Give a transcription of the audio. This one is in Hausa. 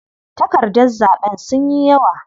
Takardar zaɓen sunyi yawa.